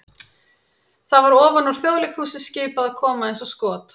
það var ofan úr Þjóðleikhúsi skipað að koma eins og skot!